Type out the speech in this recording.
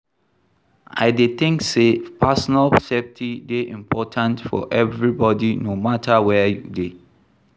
I dey think say personal safety dey important for everybody, no matter where you dey.